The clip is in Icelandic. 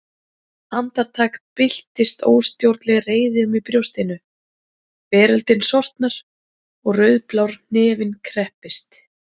Andartak byltist óstjórnleg reiði um í brjóstinu, veröldin sortnar og rauðblár hnefinn kreppist.